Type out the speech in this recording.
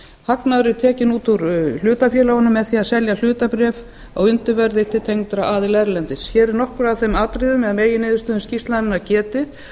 hagnaður er tekinn út úr hlutafélögunum með því að selja hlutabréf á undirverði til tengdra aðila erlendis hér eru nokkur af þeim atriðum eða meginniðurstöðum skýrslunnar getið